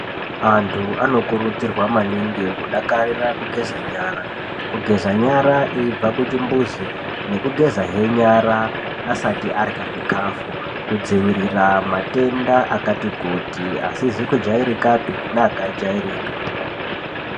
Antu anokurudzirwa maningi kudakarira kugeza nyara. Kugeza nyara eibva kuchimbuzi, nekugezahe nyara asati arya zvikafu kudzivirira matenda akati kuti asizi kujairikapi neaka jairika.